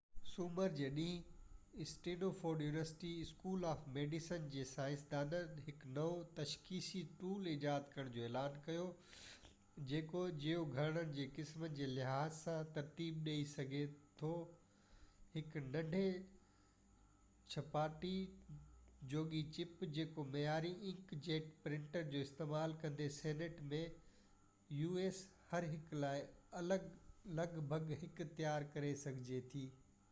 سومر جي ڏينهن Stanford university school of medicine جي سائنسدانن هڪ نئون تشخيصي ٽول ايجاد ڪرڻ جو اعلان ڪيو جيڪو جيو گهرڙن جي قسمن جي لحاظ سان ترتيب ڏيئي سگهي ٿو هڪ ننڍي ڇپائيءِ جوڳي چپ جيڪو معياري انڪ جيٽ پرنٽرز جو استعمال ڪندي هر هڪ لاءِ لڳ ڀڳ هڪ u.s. سينٽ ۾ تيار ڪري سگهجي ٿي